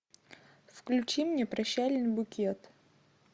включи мне прощальный букет